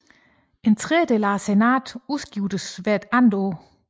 En tredjedel af senatet udskiftes hvert andet år